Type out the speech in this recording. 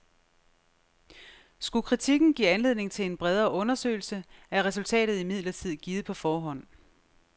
Skulle kritikken give anledning til en bredere undersøgelse, er resultatet imidlertid givet på forhånd.